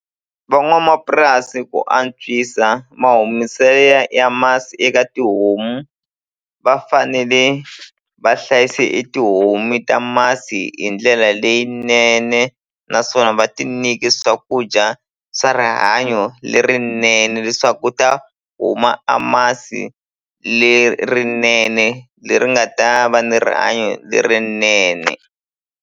Van'wamapurasi ku antswisa ma ya masi eka tihomu va fanele va hlayisa e tihomu ta masi hi ndlela leyinene naswona va ti nyike swakudya swa rihanyo lerinene leswaku ku ta huma a masi lerinene leri nga ta va ni rihanyo lerinene.